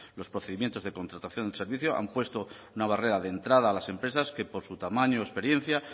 los procedimientos de contratación del servicio han puesto una barrera de entrada a las empresas que por su tamaño o experiencia